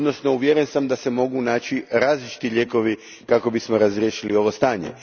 Uvjeren sam da se mogu naći različiti lijekovi kako bismo razriješili ovo stanje.